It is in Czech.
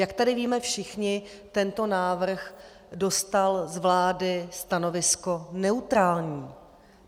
Jak tady víme všichni, tento návrh dostal z vlády stanovisko neutrální.